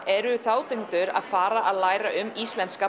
eru þátttakendur líka að fara að læra um íslenska